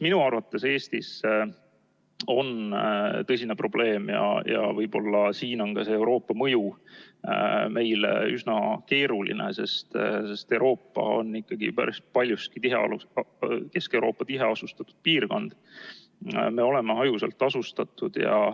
Minu arvates on Eestis tõsine probleem – ja võib-olla siin on Euroopa mõju meile üsna keeruline, sest Euroopa on ikkagi päris paljuski tiheasustatud piirkond –, et me oleme hajusalt asustatud.